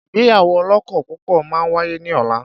Ìgbéyàwó ọlọ́kọ púpọ̀ máa wáyé ní ọ̀la.